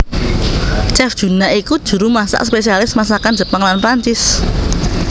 Chef Juna iku juru masak spesialis masakan Jepang lan Prancis